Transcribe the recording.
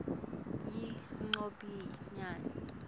yengobiyane